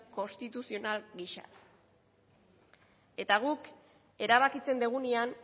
konstituzional gisa eta guk erabakitzen dugunean